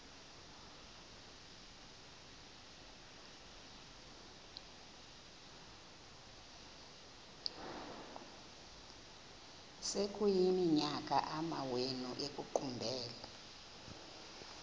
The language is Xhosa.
sekuyiminyaka amawenu ekuqumbele